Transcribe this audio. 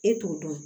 E t'o dɔn